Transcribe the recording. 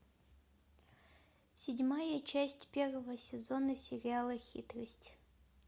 седьмая часть первого сезона сериала хитрость